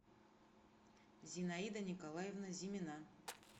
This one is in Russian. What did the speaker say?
зинаида николаевна зимина